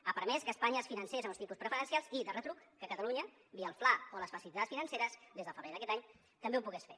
ha permès que espanya es financés a uns tipus preferencials i de retruc que catalunya via el fla o les facilitats financeres des de febrer d’aquest any també ho pogués fer